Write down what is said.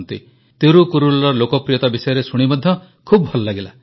ତିରୁକୁରଲର ଲୋକପ୍ରିୟତା ବିଷୟରେ ଶୁଣି ମଧ୍ୟ ଖୁବ ଭଲ ଲାଗିଲା